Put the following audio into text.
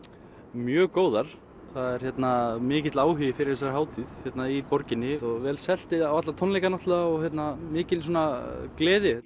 mjög góðar það er mikill áhugi fyrir þessari hátíð í borginni vel selt á alla tónleikana og mikil gleði